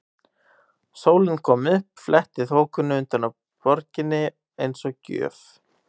Sólin kom upp, fletti þokunni utan af borginni eins og gjöf.